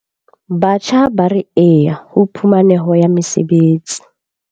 Batjha ba re YES ho phumaneho ya mesebetsi.